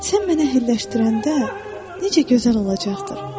Sən mənə hülləşdirəndə necə gözəl olacaqdır.